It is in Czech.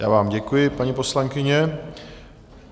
Já vám děkuji, paní poslankyně.